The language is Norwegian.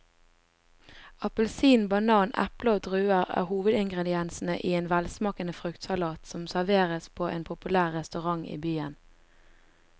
Appelsin, banan, eple og druer er hovedingredienser i en velsmakende fruktsalat som serveres på en populær restaurant i byen.